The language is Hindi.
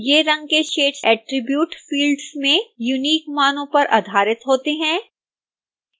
ये रंग के शेड्स attribute fields में यूनिक मानों पर आधारित होते हैं